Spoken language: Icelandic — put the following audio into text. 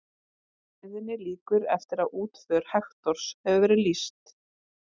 Kviðunni lýkur eftir að útför Hektors hefur verið lýst.